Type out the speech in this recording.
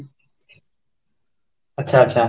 ଆଛା ଆଛା